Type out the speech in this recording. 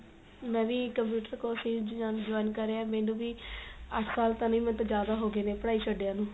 ਮੈਂ ਵੀ computer course ਹੀ join ਕਰਿਆ ਮੈਨੂੰ ਵੀ ਅੱਠ ਸਾਲ ਤਾਂ ਨੀ ਮੈਨੂੰ ਤਾਂ ਜਿਆਦਾ ਹੋ ਗਏ ਨੇ ਪੜਾਈ ਛਡੇ ਨੂੰ